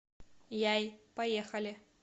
яй поехали